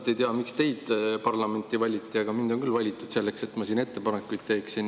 Ma ei tea, miks teid parlamenti valiti, aga mind on küll valitud selleks, et ma siin ettepanekuid teeksin.